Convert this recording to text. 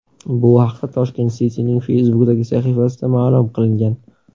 Bu haqda Tashkent City’ning Facebook’dagi sahifasida ma’lum qilingan .